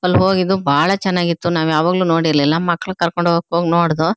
ಅಲ್ಹೋಗಿದ್ದು ಬಹಳ ಚೆನ್ನಾಗಿ ಇತ್ತು ನಾವು ಯಾವಾಗ್ಲೂ ನೋಡಿರ್ಲಿಲ್ಲ ಮಕ್ಕಳು ಕರ್ಕೊಂಡು ಹೋಗಕ್ಕೆ ಹಾಗ್ ನೋಡದ್ವು.